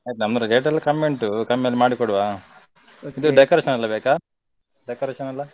ಆಯ್ತು ನಮ್ಮ rate ಎಲ್ಲ ಕಮ್ಮಿ ಉಂಟು ಕಮ್ಮಿಯಲ್ಲಿ ಮಾಡಿಕೊಡುವ ಇದು decoration ಎಲ್ಲ ಬೇಕಾ? Decoration ಎಲ್ಲ.